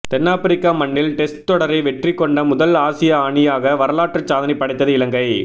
தென்னாபிரிக்க மண்ணில் டெஸ்ட் தொடரை வெற்றி கொண்ட முதல் ஆசிய அணியாக வரலாற்று சாதனை படைத்தது இலங்கை